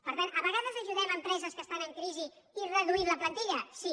per tant a vegades ajudem empreses que estan en crisi i reduir la plantilla sí